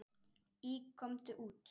Í Komdu út!